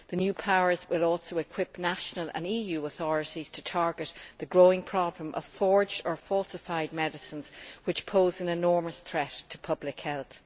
The new powers will also equip national and EU authorities to target the growing problem of forged or falsified medicines, which pose an enormous threat to public health.